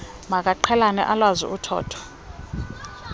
makaqhelane alwazi uthotho